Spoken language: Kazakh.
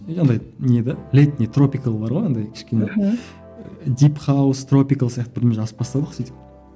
и андай не де летний тропикал бар ғой андай кішкене мхм дип хаус тропикал сияқты бірдеме жазып бастадық сөйтіп